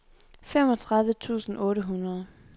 femogtredive tusind otte hundrede